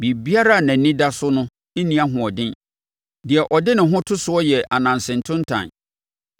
Biribiara a nʼani da so no nni ahoɔden; deɛ ɔde ne ho to soɔ yɛ ananse ntontan.